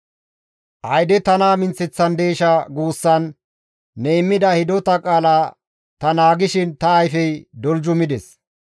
«Ayde tana minththeththandeesha?» guussan ne immida hidota qaala ta naagishin ta ayfey doljumides.